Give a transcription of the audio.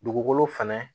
Dugukolo fɛnɛ